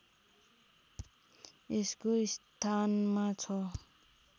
यसको स्थानमा छ